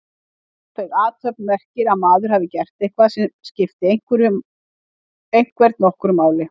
Ófeig athöfn merkir að maður hafi gert eitthvað sem skipti einhvern nokkru máli.